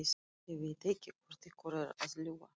Ég veit ekki hvor ykkar er að ljúga.